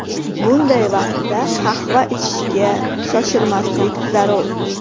Bunday vaqtda qahva ichishga shoshilmaslik zarur.